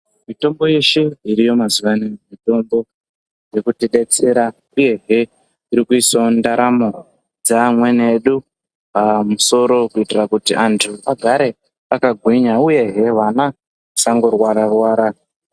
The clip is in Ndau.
Mitombo yeshe iriyo mazuva ano mitombo yekuti detsera uyehe iri kuisawo ndaramo dzimweni edu pamusoro kuitira kuti antu agare akagwinya uyehe kuti ana asangorwara rwara.